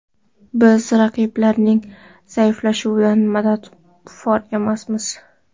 Biz raqiblarning zaiflashuvidan manfaatdor emasmiz.